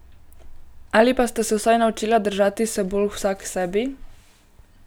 Ali pa sta se vsaj naučila držati se bolj vsaksebi.